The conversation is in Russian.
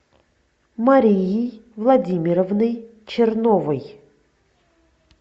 марией владимировной черновой